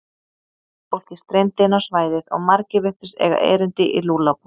Fólkið streymdi inn á svæðið og margir virtust eiga erindi í Lúllabúð.